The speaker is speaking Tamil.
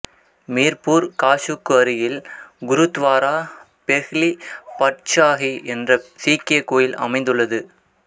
மீர்பூர் காஸுக்கு அருகில் குருத்வாரா பெஹ்லி பட்ஷாஹி என்ற சீக்கிய கோயில் அமைந்துள்ளது